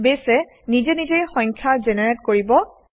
বেছে নিজে নিজেই সংখ্যা জেনেৰেট কৰিব